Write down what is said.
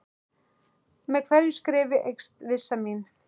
Með hverju skrefi eykst vissa mín.